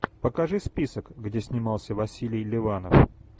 покажи список где снимался василий ливанов